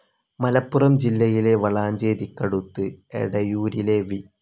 മലപ്പുറം ജില്ലയിലെ വളാഞ്ചേരിക്കടുത്ത് എടയൂരിലെ വി.